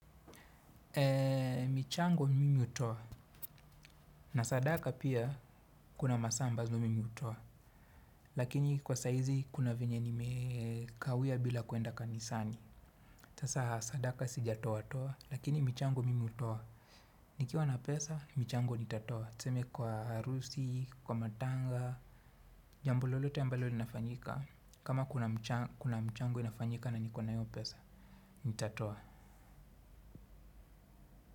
Ee michango mimi utoa na sadaka pia kuna masaa ambazo mimi hutoa lakini kwa saizi kuna venye nimekawia bila kuenda ka nisani tasa sadaka sija toa toa lakini michango mimi utoa nikiwa na pesa michango nitatoa tuseme kwa harusi kwa matanga jambo lolote ambalo linafanyika kama kuna mchango inafanyika na niko na hiyo pesa nitatoa.